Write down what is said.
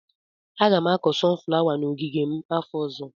Aga m akọ sọnụ flawa n'ogige m afọ ọzọ.